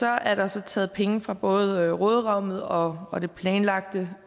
er der taget penge fra både råderummet og og det planlagte